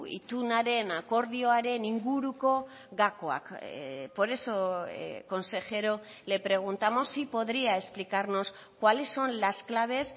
itunaren akordioaren inguruko gakoak por eso consejero le preguntamos si podría explicarnos cuáles son las claves